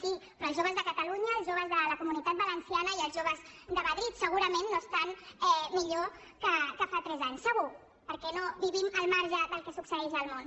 sí però els joves de catalunya els joves de la comunitat valenciana i els joves de madrid segurament no estan millor que fa tres anys segur perquè no vivim al marge del que succeeix al món